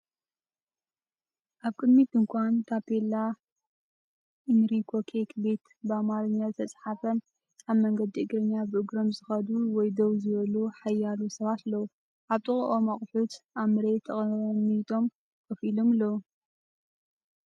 ኣብ ቅድሚት ድኳን ታፔላ ኢንሪኮ ኬክ ቤት በኣምሓርኛ ዝተፃሓፈን ኣብ መንገዲ እግረኛ ብእግሮም ዝኸዱ ወይ ደው ዝበሉ ሓያሎ ሰባት ኣለዉ። ኣብ ጥቓኦም ኣቑሑት ኣብ መሬት ተቐሚጦም ኮፍ ኢሎም ኣለዉ።